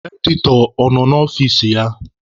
Editọ a nọ n'ọfici ya?